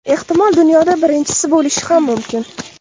Ehtimol dunyoda birinchisi bo‘lishi ham mumkin.